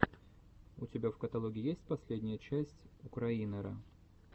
у тебя в каталоге есть последняя часть украинера